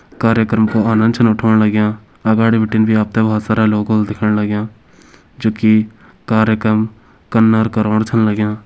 कार्यकम को आनंद छन उठोण लग्यां। अगाड़ि बटिन भी आपते बोहोत सारा लोग ओल दिखण लग्यां जो की कार्यक्रम कन अर करवाण छन लग्यां।